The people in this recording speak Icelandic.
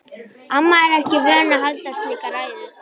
Amma er ekki vön að halda slíka ræðu.